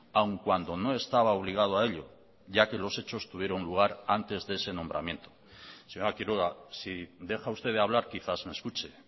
aun cuando no estaba obligado a ello ya que los hechos tuvieron lugar antes de ese nombramiento señora quiroga si deja usted de hablar quizás me escuche